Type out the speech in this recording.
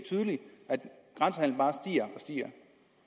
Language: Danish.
at og stiger